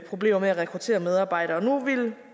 problemer med at rekruttere medarbejdere nu